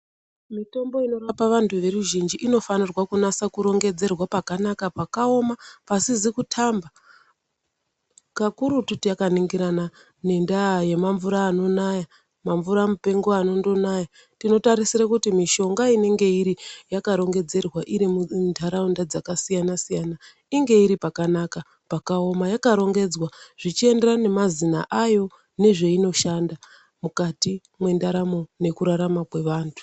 Mitombo inorapa vantu veruzhinji inofanirwa kunasa kurongedzerwa pakanaka pakaoma pasizi kutamba kakurutu takaningirana nendaa yemamvura anonaya mamvura mupengo anondonaya tinotarisire kuti mishonga inenge iri yakarongedzerwa irimu nharaunda dzakasiyana siyana inge iri pakanaka pakaoma yakarongedzwa zvichienderana nema zina ayo nezveinoshanda mukati mendaramo nekurarama kwevantu.